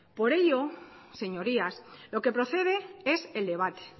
por ellos señorías lo que procede es el debate